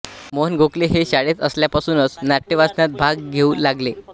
मोहन गोखले हे शाळेत असल्यापासूनच नाट्यवाचनात भाग घेऊ लागले